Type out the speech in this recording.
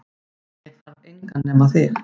Ég þarf engan nema þig